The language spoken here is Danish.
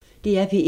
DR P1